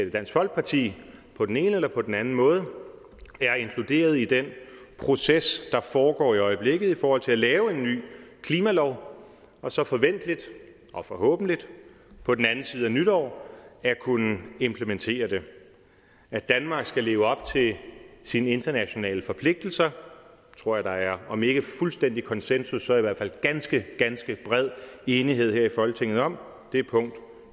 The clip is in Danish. i dansk folkeparti på den ene eller på den anden måde er inkluderet i den proces der foregår i øjeblikket i forhold til at lave en ny klimalov og så forventeligt og forhåbentlig på den anden side af nytår at kunne implementere det at danmark skal leve op til sine internationale forpligtelser tror jeg der er om ikke fuldstændig konsensus så i hvert fald ganske ganske bred enighed her i folketinget om det er punkt